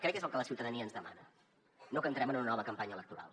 crec que és el que la ciutadania ens demana no que entrem en una nova campanya electoral